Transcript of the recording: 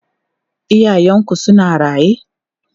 Iyayenku suna raye?